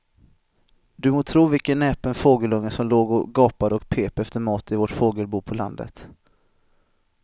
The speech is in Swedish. Du må tro vilken näpen fågelunge som låg och gapade och pep efter mat i vårt fågelbo på landet.